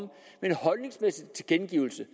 med en holdningsmæssig tilkendegivelse